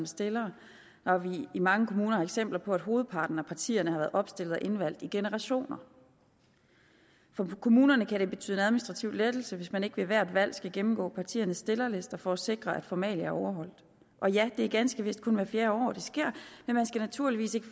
stillere når vi i mange kommuner har eksempler på at hovedparten af partierne har været opstillet og indvalgt i generationer for kommunerne kan det betyde en administrativ lettelse hvis man ikke ved hvert valg skal gennemgå partiernes stillerlister for at sikre at formalia er overholdt og ja det er ganske vist kun hvert fjerde år det sker men man skal naturligvis ikke